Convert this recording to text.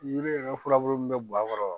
Yiri yɛrɛ furabulu min bɛ bɔn a kɔrɔ